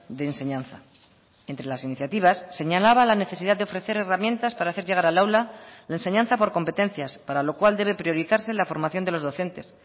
de enseñanza entre las iniciativas señalaba la necesidad de ofrecer herramientas para hacer llegar al aula la enseñanza por competencias para lo cual debe priorizarse la formación de los docentes